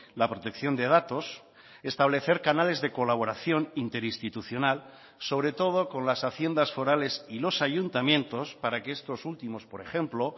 la protección de datos establecer canales de colaboración interinstitucional sobre todo con las haciendas forales y los ayuntamientos para que estos últimos por ejemplo